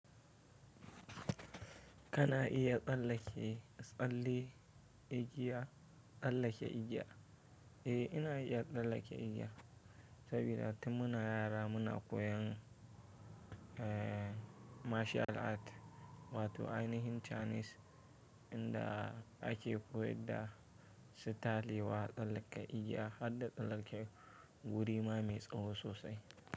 Kana iya tsallale tsalle igiya tsallake igiya? E, ina iya tsallake igiya sabida tin muna yara muna koyan martial art wato ainihin Chinese inda ake koyar da su talewa tsallake igiya har da tsallake wuri ma mai tsawo sosai.